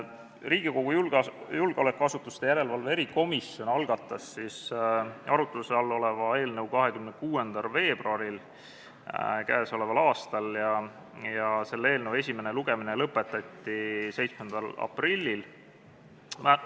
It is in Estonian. Riigikogu julgeolekuasutuste järelevalve erikomisjon algatas arutluse all oleva eelnõu 26. veebruaril k.a ja selle eelnõu esimene lugemine lõpetati 7. aprillil.